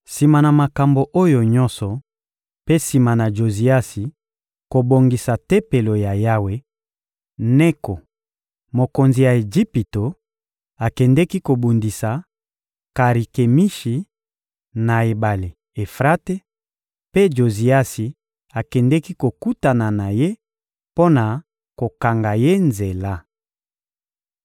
Sima na makambo oyo nyonso mpe sima na Joziasi kobongisa Tempelo ya Yawe, Neko, mokonzi ya Ejipito, akendeki kobundisa Karikemishi, na ebale Efrate; mpe Joziasi akendeki kokutana na ye mpo na kokanga ye nzela.